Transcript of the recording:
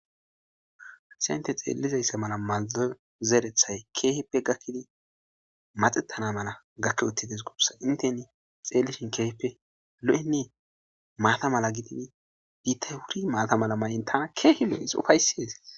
Haysa inte xeellizayssa mala maldo zeerethay keehippe gakkidi maxettana mala gakke uttides gubsa inteni xeellishin keehipe lo7eie maata mala gidini biittay wuri maata mala may7in tana keehi lo7is ufaysies